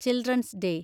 children's day